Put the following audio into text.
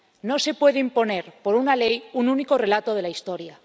No se puede imponer por una ley un único relato de la historia.